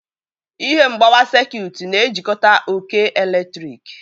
Ihe mgbawa sekut na-ejikọta oke eletrik.